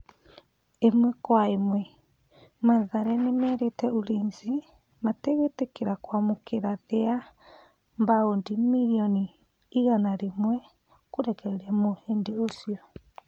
(Ĩmwe kwa ĩmwe) Mathare nĩmerĩte Ulinzi matigwĩtĩkĩra kwamũkĩra thĩ wa baũndi mirioni igana rĩmwe kũrekereria mũhĩndi ũcio.